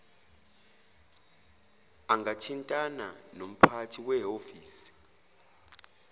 angathintana nomphathi wehhovisi